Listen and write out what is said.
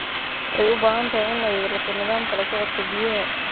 Waxay u baahan tahay in ay yeelato nidaamka la socodka biyaha.